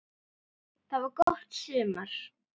Það var gott sumar.